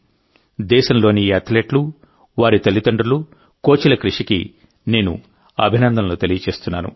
దేశంలోని ఈ అథ్లెట్లు వారి తల్లిదండ్రులు కోచ్ల కృషికి నేను అభినందనలు తెలియజేస్తున్నాను